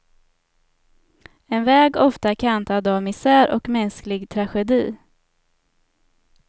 En väg ofta kantad av misär och mänsklig tragedi.